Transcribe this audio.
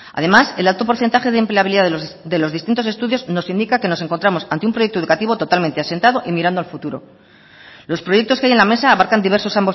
además el alto porcentaje de empleabilidad de los distintos estudios nos indica que nos encontramos ante un proyecto educativo totalmente asentado y mirando al futuro los proyectos que hay en la mesa abarcan diversos